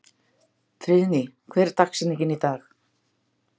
Friðný, hver er dagsetningin í dag?